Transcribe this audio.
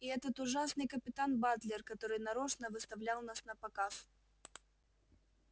и этот ужасный капитан батлер который нарочно выставлял нас напоказ